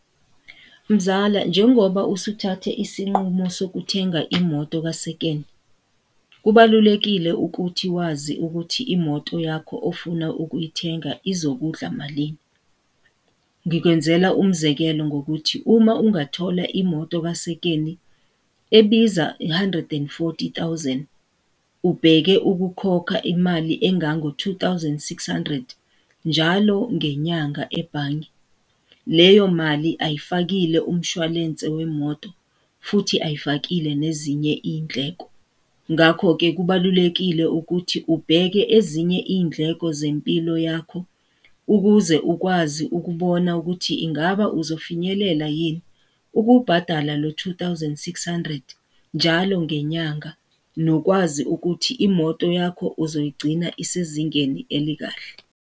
Mzala, njengoba usuthathe isinqumo sokuthenga imoto kasekeni, kubalulekile ukuthi wazi ukuthi imoto yakho ofuna ukuyithenga izokudla malini. Ngikwenzela umzekelo ngokuthi uma ungathola imoto kasekeni ebiza u-hundred and forty thousand, ubheke ukukhokha imali engango two thousand, six hundred, njalo ngenyanga ebhange. Leyo mali ayifakile umshwalense wemoto, futhi ayifakile nezinye iy'ndleko. Ngakho-ke kubalulekile ukuthi ubheke ezinye iy'ndleko zempilo yakho ukuze ukwazi ukubona ukuthi ingaba uzofinyelela yini ukubhatala lo two thousand, six hundred, njalo ngenyanga, nokwazi ukuthi imoto yakho uzoyigcina isezingeni elikahle.